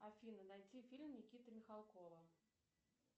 афина найти фильм никиты михалкова